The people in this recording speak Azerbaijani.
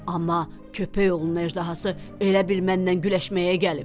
Amma köpəyoğlu əjdahası elə bil mənlə güləşməyə gəlib.